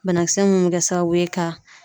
Banakisɛ mun bɛ kɛ sababu ye ka